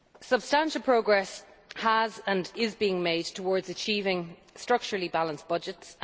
Substantial progress has and is being made towards achieving structurally balanced budgets.